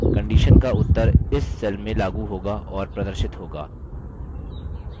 conditions का उत्तर इस cell में लागू होगा और प्रदर्शित होगा